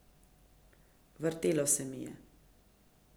Vrtelo se mi je.